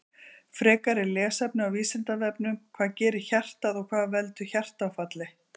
Frekara lesefni á Vísindavefnum Hvað gerir hjartað og hvað veldur hjartaáfalli?